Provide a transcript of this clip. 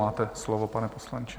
Máte slovo, pane poslanče.